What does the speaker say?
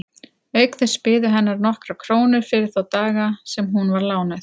Auk þess biðu hennar nokkrar krónur fyrir þá daga sem hún var lánuð.